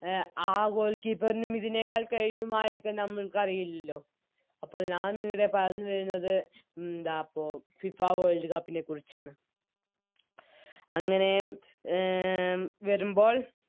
അഹ് ആ Goalkeeper നും ഇതിനേക്കാൾ കെഴിയുമായിരിക്കാം നമ്മൾക്ക് അറിയില്ലല്ലോ അപ്പോൾ ഞാനിന്നിവിടെ പറഞ്ഞു വരുന്നത് ന്താപ്പോ FIFA World cup നെക്കുറിച്ചാണ് അങ്ങനെ എ വരുമ്പോൾ